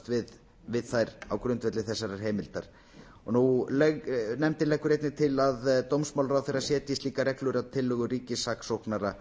notast við þær á grundvelli þessarar heimildir nefndin leggur einnig til að dómsmálaráðherra setji slíkar reglur að tillögu ríkissaksóknara